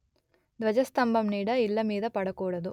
ధ్వజస్థంభం నీడ ఇళ్ళమీద పడకూడదు